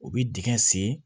U bɛ dingɛ sen